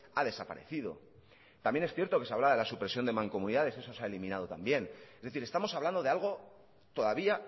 ha desaparecido también es cierto que se hablaba de la supresión de mancomunidades eso se ha eliminado también es decir estamos hablando de algo todavía